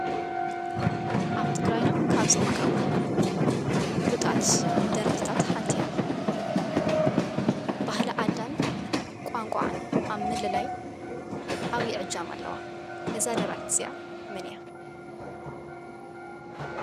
ኣብ ትግራይና ካብ ዝርከቡ ፍሉጣት ደረፍትታት ሓንቲ እያ፡፡ ባህሊ ዓዳን ቋንቋኣን ኣብ ምልላይ ዓብይ እጃም ኣለዋ፡፡ እዛ ደራፊት እዚኣ መን እያ?